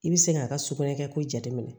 I bɛ se k'a ka sugunɛ kɛ ko jate minɛ